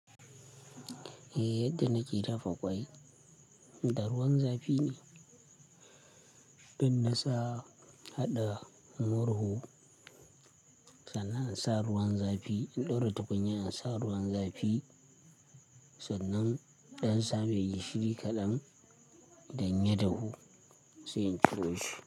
Eh yadda nake dafa ƙwai, da ruwan zafi ne. In nisa haɗa murhu, sannan an sa ruwan zafi. Inda wata kunya ana sa ruwan zafi, sannan ɗan sa mai gishiri kaɗan, dann ya dahu sai in ciro shi.